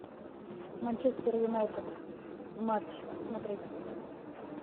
манчестер юнайтед матч смотреть